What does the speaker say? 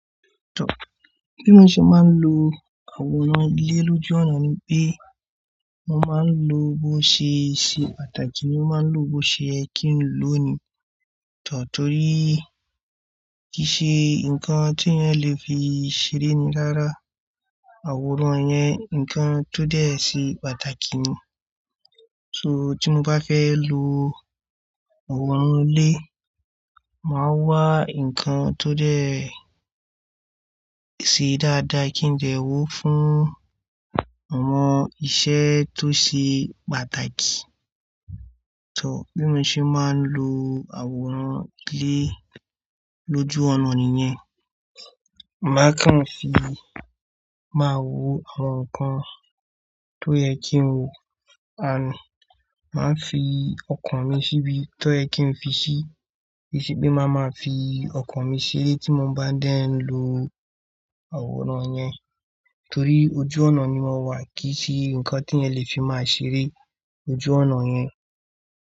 Tọ́ bí mo ṣe máa ń lo àwòrán ilé lójú ọ̀nà ni pé, mo máa ń lo bó ṣe ṣe pàtàkì ni mo máa ń lo bó ye kí n lò ó ni. Tọ́ torí kì í ṣe nǹkan tí èèyàn lè fi ṣeré ni rára àwòrán yẹn, nǹkan tó dẹ̀ ṣe pàtàkì ni. So tí mo bá fẹ́ lo àwòrán ilé, màá wá nǹkan tó dẹ̀ ṣe dáadáa kí n dẹ́ wó fún àwọn iṣẹ́ tó ṣe pàtàkì. Tọ́ bí mo ṣe máa ń lo àwòrán ilé lójú ọ̀nà nìyẹn. Màá kàn fi, màá wo àwọn nǹkan tó yẹ kí n wo, àn, màá fi ọkàn mi síbi tó yẹ kí n fi sí, kí i ṣe pé màá máa fi ọkàn mi ṣeré tí mo bá dẹ̀ ń lo àwòrán yẹn. Torí ojú ọ̀nà ni mọ́wà kì í sí nǹkan tí èèyàn lè fi máa ṣeré ojú ọ̀nà yẹn.